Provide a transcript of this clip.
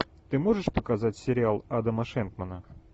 ты можешь показать сериал адама шенкмана